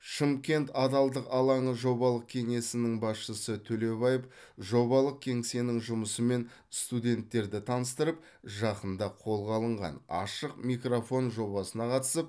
шымкент адалдық алаңы жобалық кеңсесінің басшысы төлебаев жобалық кеңсенің жұмысымен студенттерді таныстырып жақында қолға алынған ашық микрофон жобасына қатысып